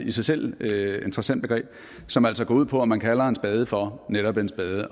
i sig selv et meget interessant begreb som altså går ud på om man kalder en spade for netop en spade